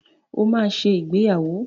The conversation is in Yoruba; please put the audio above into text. O maá ṣe ìgbéyàwó.